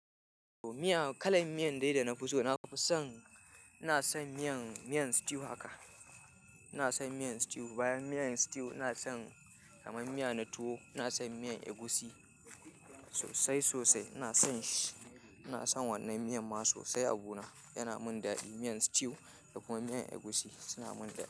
Miya, kalan miyan dai da nafi so, nafi son, ina son miyan, miyan stew haka. Ina son miyan stew. Bayan miyan stew ina son kamar miya na tuwo. Ina son miyan egusi sosai, sosai. Ina son shi. Ina son wannan miyan ma sosai a buna. Yana min daɗi. Miyan stew, da kuma miyan egusi, suna mun daɗi.